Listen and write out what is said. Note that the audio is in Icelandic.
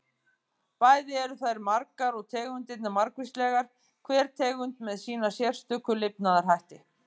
Bæði eru þær margar og tegundirnar margvíslegar, hver tegund með sína sérstöku lifnaðarhætti.